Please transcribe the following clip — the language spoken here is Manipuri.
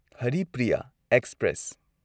ꯍꯔꯤꯄ꯭ꯔꯤꯌꯥ ꯑꯦꯛꯁꯄ꯭ꯔꯦꯁ